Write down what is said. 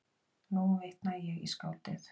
Nú vitna ég í skáldið